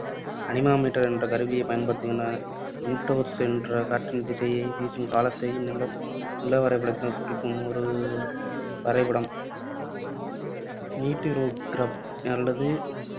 Anemometer என்ற கருவி பயன்படுத்தப்படுகின்றன. விண்ட்ரோஸ் என்ற காற்றின் திசையையும், வீசும் காலத்தையும் நில நிலவரைபடத்தில் குறிக்கும் ஒரு வரைபடம். மீட்டிரோகிராப் அல்லது